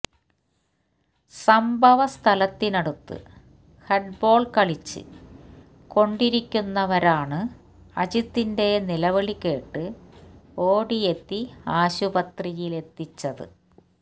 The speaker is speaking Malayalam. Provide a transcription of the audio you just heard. സംഭവ സ്ഥലത്തിനടുത്ത് ഹെഡ്ബോള് കളിച്ച് കൊണ്ടിരിക്കുന്നവരാണ് അജിത്തിന്റെ നിവിളി കേട്ട് ഓടിയെത്തി ആശുപത്രിയിലെത്തിച്ചത്